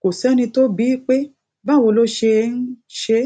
kò séni tó bi í pé báwo ló ṣe ń ṣe